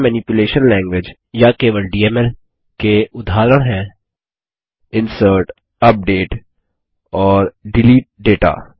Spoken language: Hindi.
डेटा मेनिप्युलेशन लैंग्वेज या केवल डीएमएल के उदाहरण हैं इंसर्ट अपडेट और डिलीट डेटा